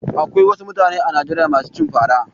Akwai wasu mutane a Najeriya masu cin fara.